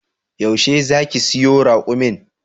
Yaushe zaki siyo raƙumin?